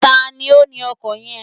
Tani ó ni ọkọ̀ yen?